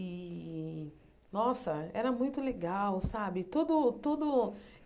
E, nossa, era muito legal, sabe? Tudo tudo